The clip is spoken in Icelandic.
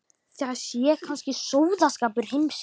Það sé kannski versti sóðaskapur heimsins.